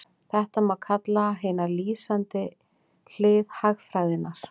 Þetta má kalla hina lýsandi hlið hagfræðinnar.